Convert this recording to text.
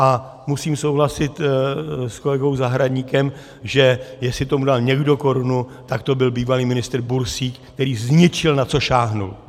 A musím souhlasit s kolegou Zahradníkem, že jestli tomu dal někdo korunu, tak to byl bývalý ministr Bursík, který zničil, na co sáhl!